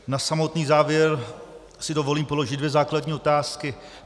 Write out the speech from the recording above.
Na samotný závěr si dovolím položit dvě základní otázky.